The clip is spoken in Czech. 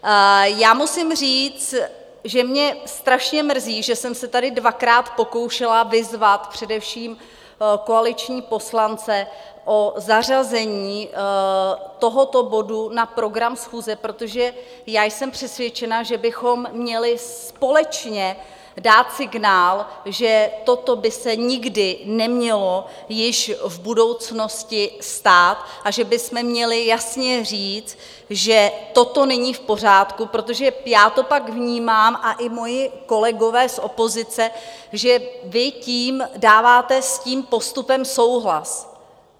Já musím říct, že mě strašně mrzí, že jsem se tady dvakrát pokoušela vyzvat především koaliční poslance o zařazení tohoto bodu na program schůze, protože já jsem přesvědčena, že bychom měli společně dát signál, že toto by se nikdy nemělo již v budoucnosti stát a že bychom měli jasně říct, že toto není v pořádku, protože já to pak vnímám, a i moji kolegové z opozice, že vy tím dáváte s tím postupem souhlas.